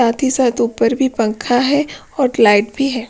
साथ ही साथ ऊपर भी पंखा हैऔर लाइट भी है।